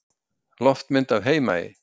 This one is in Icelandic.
Loftmynd af Heimaey.